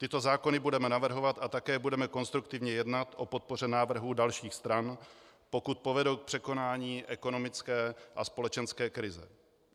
Tyto zákony budeme navrhovat a také budeme konstruktivně jednat o podpoře návrhů dalších stran, pokud povedou k překonání ekonomické a společenské krize.